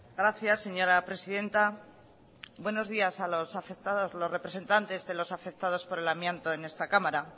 gracias señora presidenta buenos días a los afectados los representantes de los afectados por el amianto en esta cámara